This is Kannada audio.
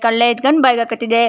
ಕಳ್ಳೆ ಎತ್ಕಂಡ್ ಬಾಯ್ಗೆ ಹಾಕತಿದ್ದೆ.